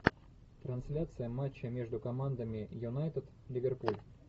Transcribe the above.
трансляция матча между командами юнайтед ливерпуль